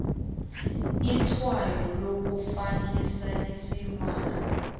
itshwayo lokufanisa isilwana